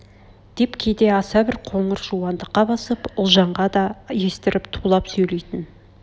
деп кейде аса бір қыңыр жуандыққа басып ұлжанға да естіріп тулап сөйлейтн